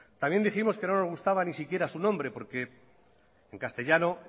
también dijimos que no nos gustaba ni siquiera su nombre porque en castellano